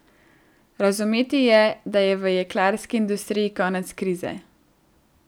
Razumeti je, da je v jeklarski industriji konec krize.